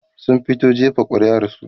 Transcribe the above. sun fito jefa ƙuri'ar su